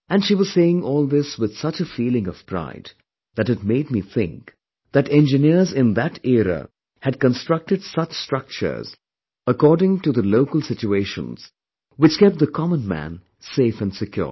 And she was saying all this with such a feeling of pride that it made me think that engineers in that era had constructed such structures according to the local situations which kept the commonman safe and secured